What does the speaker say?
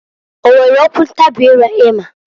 O nwere okwu ntabị ire ịma?